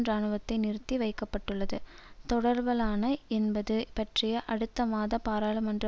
இராணுவத்தை நிறுத்தி வைக்க பட்டுள்ளது தொடரப்படலாமா என்பது பற்றிய அடுத்த மாத பாராளுமன்ற